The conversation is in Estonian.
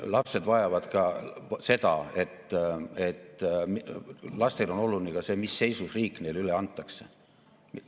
Lapsed vajavad ka seda, lastele on oluline ka see, mis seisus riik neile üle antakse.